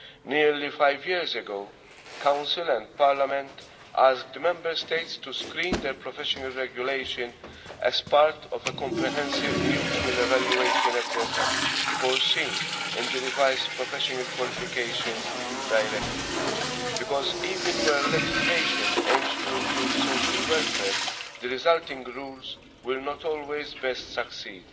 Nearly five years ago the Council and Parliament asked the Member States to screen their professional regulation as part of a comprehensive mutual evaluation exercise, foreseen in the revised Professional Qualifications Directive, because even where legislation aims to improve social welfare the resulting rules will not always best succeed.